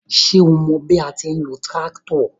Ṣo mọ bí a ti ń lo tíráktọ̀?